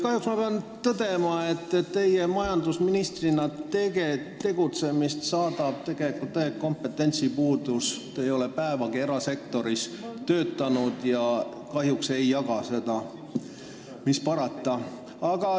Kahjuks pean tõdema, et teie tegutsemist majandusministrina saadab täielik kompetentsipuudus, te ei ole päevagi erasektoris töötanud ja kahjuks ei jaga seda, mis parata.